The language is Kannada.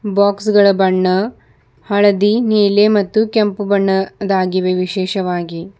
ಬಾಕ್ಸ್ ಗಳ ಬಣ್ಣ ಹಳದಿ ನೀಲಿ ಮತ್ತು ಕೆಂಪು ಬಣ್ಣದಾಗಿವೆ ವಿಶೇಷವಾಗಿ.